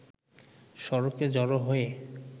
সড়কে জড়ো হয়ে